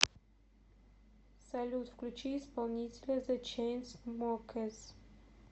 салют включи исполнителя зе чейнсмокерс